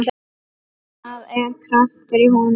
Það er kraftur í honum.